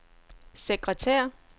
sekretær